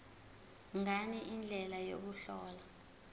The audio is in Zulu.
ngani indlela yokuhlola